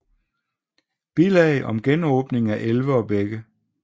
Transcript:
Bilag om genåbning af elve og bække